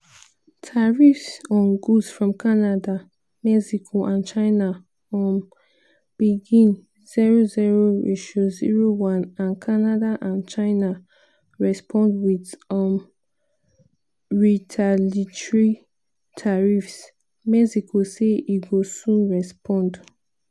tariffs on goods from canada mexico and china um begin 00:01 and canada and china respond wit um retaliatory tariffs - mexico say e go soon respond.